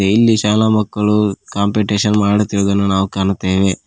ಇಲ್ಲಿ ಶಾಲಾ ಮಕ್ಕಳು ಕಾಂಪಿಟೇಶನ್ ಮಾಡುತ್ತಿರುವುದನ್ನು ನಾವು ಕಾಣುತ್ತೇವೆ.